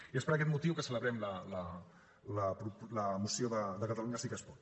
i és per aquest motiu que celebrem la moció de catalunya sí que es pot